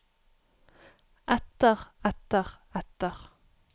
etter etter etter